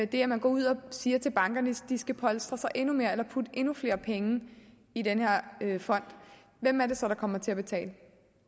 det at man går ud og siger til bankerne at de skal polstre sig endnu mere eller putte endnu flere penge i den her fond hvem er det så der kommer til at betale